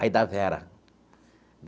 Aí, da Vera.